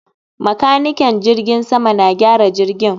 Makanikan jiragen sama na gyara jirgin